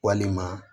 Walima